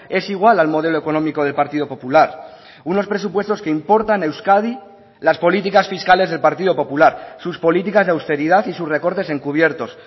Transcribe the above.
es igual al modelo económico del partido popular unos presupuestos que importan a euskadi las políticas fiscales del partido popular sus políticas de austeridad y sus recortes encubiertos